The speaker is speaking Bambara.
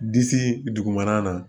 Disi dugumana la